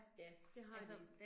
Ja, det har de